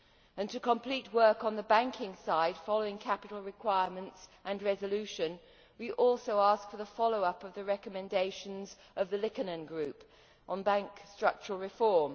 And to complete work on the banking side, following capital requirements and resolution, we also ask for the follow up to the recommendations of the Liikanen Group on bank structural reform.